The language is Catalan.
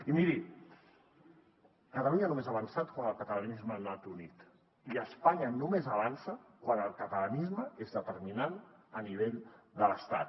i miri catalunya només ha avançat quan el catalanisme ha anat unit i espanya només avança quan el catalanisme és determinant a nivell de l’estat